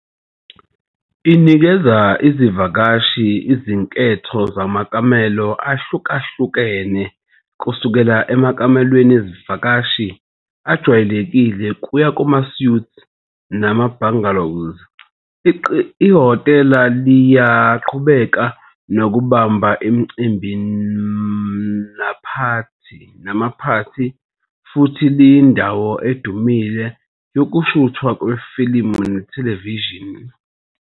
Inikeza izivakashi izinketho zamakamelo ahlukahlukene, kusukela emakamelweni ezivakashi ajwayelekile kuya kuma-suites nama-bungalows. Ihhotela liyaqhubeka nokubamba imicimbi namaphathi, futhi liyindawo edumile yokushuthwa kwefilimu nethelevishini.